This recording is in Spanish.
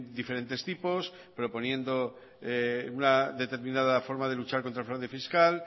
diferentes tipos proponiendo una determinada forma de luchar contra el fraude fiscal